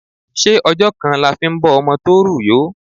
Ṣé ọjọ́ kan la fi ń bọ́ ọmọ tó rù yó?